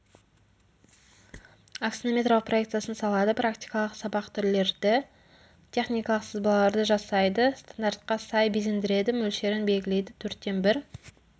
аксонометриялық проекциясын салады практикалық сабақ түрлерді техникалық сызбаларды жасайды стандартқа сай безендіреді мөлшерін белгілейді төрттен бір